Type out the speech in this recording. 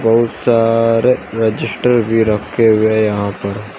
बहुत सारे रजिस्टर भी रखे हुए यहां पर।